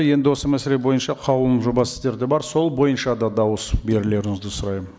енді осы мәселе бойынша қаулының жобасы сіздерде бар сол бойынша да дауыс берулеріңізді сұраймын